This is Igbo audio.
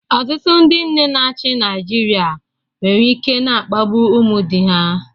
Ọtụtụ ndị nne na-achị Naịjirịa nwere ike na-akpagbu ụmụ di ha